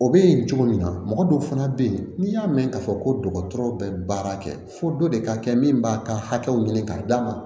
O bɛ yen cogo min na mɔgɔ dɔw fana bɛ yen n'i y'a mɛn k'a fɔ ko dɔgɔtɔrɔ bɛ baara kɛ fo dɔ de ka kɛ min b'a ka hakɛw ɲini k'a d'a ma